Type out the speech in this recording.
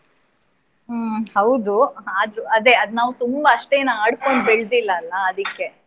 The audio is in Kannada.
ಹ್ಮ್ ಹೌದು ಆದ್ರು ಅದೇ, ಅದ್ ನಾವು ತುಂಬಾ ಅಷ್ಟೇ ಏನ್ ಆಡ್ಕೊಂಡು ಬೆಳ್ದಿಲ್ಲ ಅಲ್ಲ ಅದಿಕ್ಕೆ.